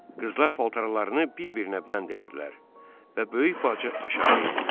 Qızlar paltarlarını bir-birinə bənd elədilər və böyük bacı aşağı endi.